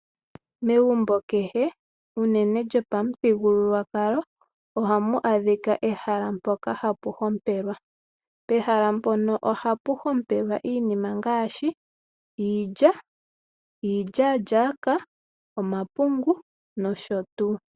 Megumbo hehe unene lyopamuthigululwakalo oha mu adhika ehala moka hapu hompelwa. Oha pu hombelwa iinima ngaashi iilya, ilyaalyaka, omapungu no sho tuu.